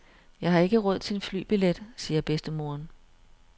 Jeg har ikke råd til en flybillet, siger bedstemoderen.